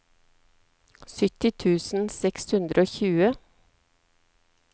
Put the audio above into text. sytti tusen seks hundre og tjue